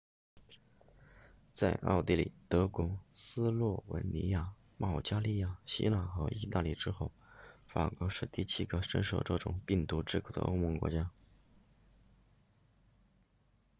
在奥地利德国斯洛文尼亚保加利亚希腊和意大利之后法国是第七个深受这种病毒之苦的欧盟国家